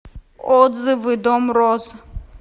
отзывы дом роз